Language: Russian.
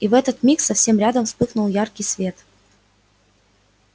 и в этот миг совсем рядом вспыхнул яркий свет